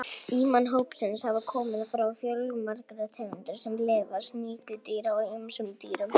Innan hópsins hafa komið fram fjölmargar tegundir sem lifa sem sníkjudýr á ýmsum dýrum.